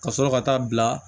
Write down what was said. Ka sɔrɔ ka taa bila